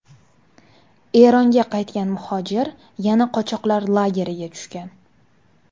Eronga qaytgan muhojir yana qochoqlar lageriga tushgan.